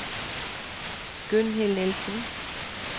Gunnhild Nielsen